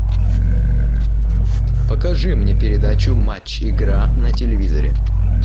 покажи мне передачу матч игра на телевизоре